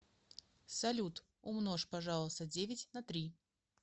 салют умножь пожалуйста девять на три